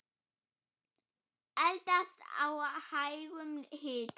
Eldast á hægum hita.